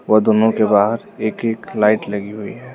वह दोनों के बाहर एक एक लाइट लगी हुई है।